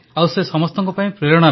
ଆଉ ସେ ସମସ୍ତଙ୍କ ପାଇଁ ପ୍ରେରଣା